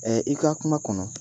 Ɛ i kaa kuma kɔnɔ